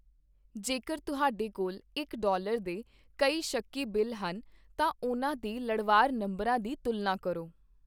ਜੇਕਰ ਤੁਹਾਡੇ ਕੋਲ ਇੱਕ ਡਾਲਰ ਦੇ ਕਈ ਸ਼ੱਕੀ ਬਿੱਲ ਹਨ, ਤਾਂ ਉਹਨਾਂ ਦੇ ਲੜਵਾਰ ਨੰਬਰਾਂ ਦੀ ਤੁਲਨਾ ਕਰੋ।